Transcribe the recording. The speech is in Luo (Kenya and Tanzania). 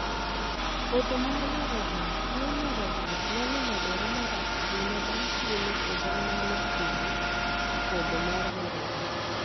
Podho mar nyarogno. Tuo nyarogno nyalo medore marach ahinya bang' thuolo, kendo onyalo kelo podho mar nyarogno.